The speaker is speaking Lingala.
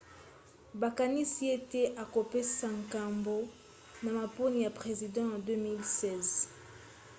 bakanisi ete akopesa nkombo na maponi ya president ya 2016